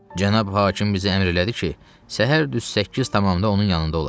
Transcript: Cənab hakim bizə əmr elədi ki, səhər düz 8 tamamda onun yanında olaq,